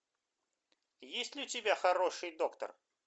есть ли у тебя хороший доктор